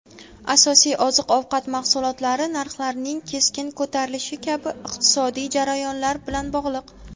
asosiy oziq-ovqat mahsulotlari narxlarining keskin ko‘tarilishi kabi iqtisodiy jarayonlar bilan bog‘liq.